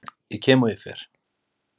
Ég kem og ég fer.